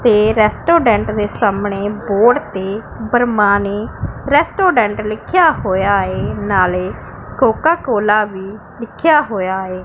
ਤੇ ਰੈਸਟੋਰੈਂਟ ਦੇ ਸਾਹਮਣੇ ਬੋਰਡ ਤੇ ਬਰਹਮਾਣੀ ਰੈਸਟੋਰੈਂਟ ਲਿੱਖਿਆ ਹੋਇਆ ਹੈ ਨਾਲੇ ਕੋਕਾ ਕੋਲਾ ਵੀ ਲਿੱਖਿਆ ਹੋਇਆ ਏ।